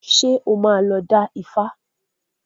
Ṣé o máa lọ dá Ifá?